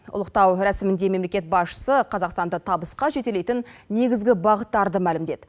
ұлықтау рәсімінде мемлекет басшысы қазақстанды табысқа жетелейтін негізгі бағыттарды мәлімдеді